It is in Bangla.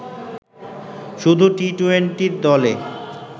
শুধু টি-টোয়েন্টি দলে